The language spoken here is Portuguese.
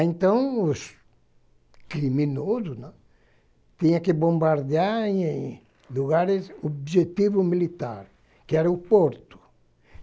Então, os criminosos, né, tinham que bombardear em lugares de objetivo militar, que era o porto.